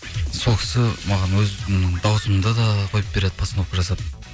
сол кісі маған өзімнің дауысымды да қойып береді постановка жасап